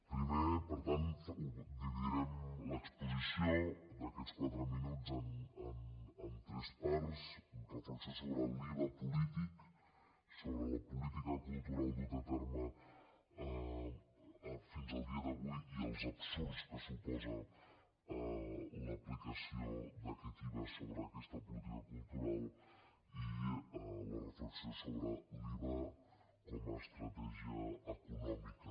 primer per tant dividirem l’exposició d’aquests quatre minuts en tres parts reflexió sobre l’iva polític sobre la política cultural duta a terme fins al dia d’avui i els absurds que suposa l’aplicació d’aquest iva sobre aquesta política cultural i la reflexió sobre l’iva com a estratègia econòmica